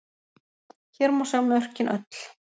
Hér má sjá mörkin öll.